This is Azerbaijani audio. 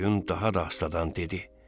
Qoyun daha da astadan dedi.